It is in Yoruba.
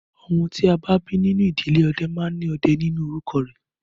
Ọmọ tí a bí nínú ìdílé ọdẹ máa ní Ọdẹ nínú orúkọ rẹ̀